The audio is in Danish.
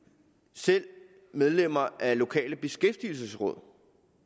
selv medlemmer af lokale beskæftigelsesråd